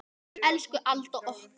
Elsku Alda okkar.